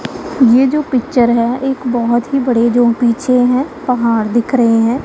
ये जो पिक्चर है एक बहोत ही बड़े जो पीछे हैं पहाड़ दिख रहे हैं।